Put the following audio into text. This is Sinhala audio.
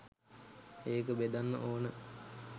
ඒක බෙදන්න ඕන.